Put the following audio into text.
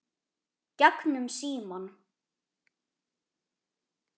Gegnum símann.